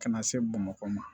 Ka na se bamakɔ ma